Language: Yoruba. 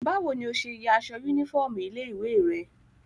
Báwo ni ọ ṣe ya ya aṣọ yúnífọ́ọ̀mù ilé-ìwé rẹ?